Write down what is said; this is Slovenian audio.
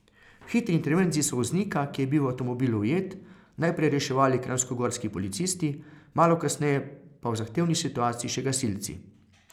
V hitri intervenciji so voznika, ki je bil v avtomobilu ujet, najprej reševali kranjskogorski policisti, malo kasneje pa v zahtevni situaciji še gasilci.